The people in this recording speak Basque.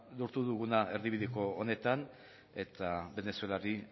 lortu duguna erdibideko honetan eta venezuelari